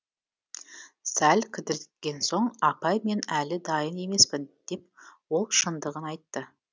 сәл кідіргенсоң апай мен әлі дайын емеспін деп ол шындығын айтты